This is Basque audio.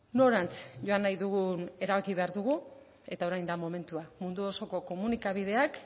norantz joan nahi dugun erabaki behar dugu eta orain da momentua mundu osoko komunikabideak